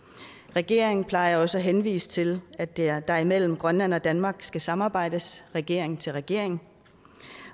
regeringen plejer også at henvise til at der der mellem grønland og danmark skal samarbejdes regering til regering